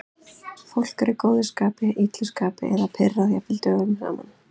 Fólk er í góðu skapi, illu skapi eða pirrað jafnvel dögum saman.